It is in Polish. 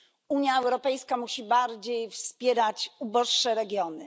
Unia Europejska musi bardziej wspierać uboższe regiony.